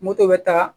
Moto bɛ taa